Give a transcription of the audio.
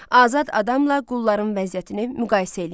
Azad adamla qulların vəziyyətini müqayisə eləyin.